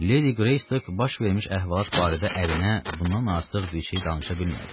Ledi Greystok baş vermiş əhvalat barədə ərinə bundan artıq bir şey danışa bilmədi.